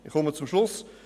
Ich komme zum Schluss: